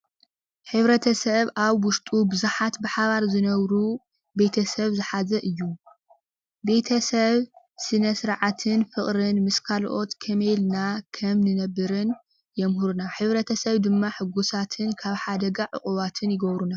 ሕብረተሰብ ኣብ ዉሽጡ ቡዛሓት ብሓባር ዝነብሩ ቤተሰብ ዝሓዘ እዩ። ቤተሰብ ስነስርዓትን ፍቅርን ምስ ካሎኦት ከመይ ኢልና ከም ንነብርን የምህሩና ሕብረተሰብ ድማ ሕጉሳትን ካብ ሓደጋ ዕቁባት ይገቡሩና።